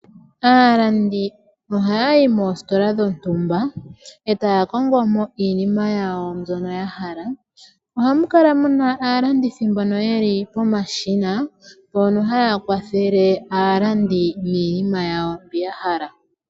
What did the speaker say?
Aalandi ohaya yi mositola dhontumba e taya kongo mo iinima yawo mbyono ya hala. Ohamu kala mu na aalandithi mbono ye li pomashina mbono haya kwathele aalandi niinima yawo mbi ya hala.